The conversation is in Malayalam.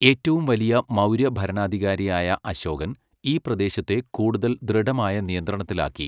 ഏറ്റവും വലിയ മൗര്യ ഭരണാധികാരിയായ അശോകൻ, ഈ പ്രദേശത്തെ കൂടുതൽ ദൃഢമായ നിയന്ത്രണത്തിലാക്കി.